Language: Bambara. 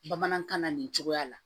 Bamanankan na nin cogoya la